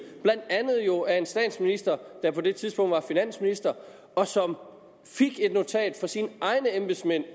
blandt andet jo af en statsminister der på det tidspunkt var finansminister og som fik et notat fra sine egne embedsmænd